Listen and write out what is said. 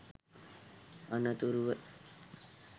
අනතුරුව